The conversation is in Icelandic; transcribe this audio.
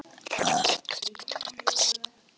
Af því vinur minn að ég bý hér.